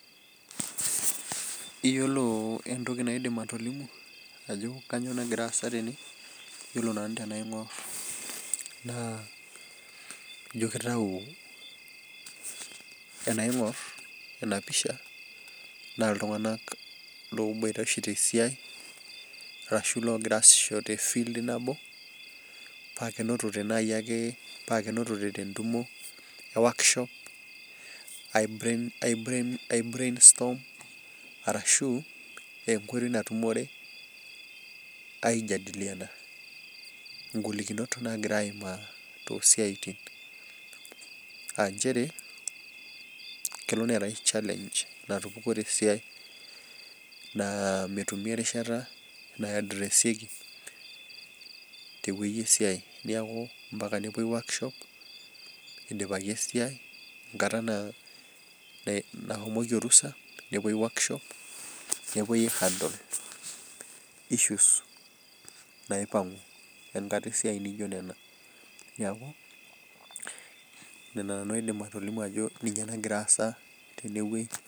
Yiolo entoki naidim atolimu ajo kainyoo nagira aasa tene ,yiolo nanu tenaingor ijo kitayu tenaingor ena pisha naa ltunganak oboita oshi tesiai ashu loogira asisho tefild nabo pee kenotote naaji ake tentumo e workshop ai brainstorm orashu enkoitoi natumore aijadiliana ngolikinot naagira aimaa toosiaitin. Aa nchere kelo neetae challenge natupukuo tesiai naa metumi erishata nadresieki teweji esiai, neeku mpaka nepuoi workshop eidipaki esiai ,enkata nashomoki orusa ,nepei workshop nepuoi aihandale issues naipangu enkata esiai naijo nena. Neeku Nena nanu aidim atolimu ajo ninye nagira aasa tena.